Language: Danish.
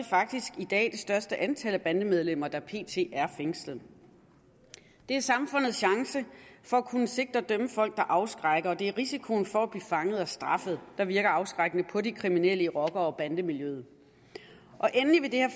faktisk i dag det største antal bandemedlemmer fængslet det er samfundets chance for at kunne sigte og dømme folk der afskrækker og det er risikoen for at blive fanget og straffet der virker afskrækkende på de kriminelle i rocker og bandemiljøet endelig vil det her